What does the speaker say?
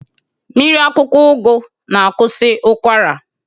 Mmiri akwụkwọ ụgụ na-akwụsị ụkwara.